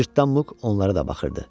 Cırtdan Muq onlara da baxırdı.